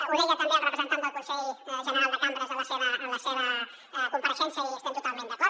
ho deia també el representant del consell general de cambres en la seva compareixença i hi estem totalment d’acord